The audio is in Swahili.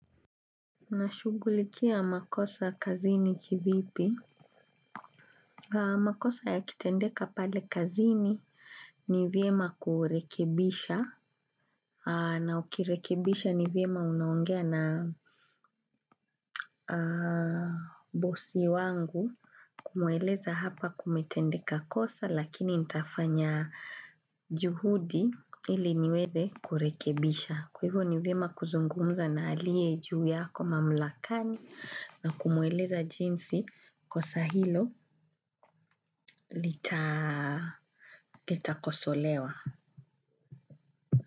Na shughulikia makosa kazini kivipi? Makosa ya kitendeka pale kazini ni vyema kurekebisha. Na ukirekebisha ni vyema unaongea na bosi wangu. Kumueleza hapa kumetendeka kosa lakini nitafanya juhudi ili niweze kurekebisha. Kwahivyo ni vyema kuzungumza na alie juu yako mamlakani. Na kumuweleza jinsi kosa hilo litakosolewa.